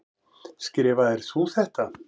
Skrifaðir þú þetta?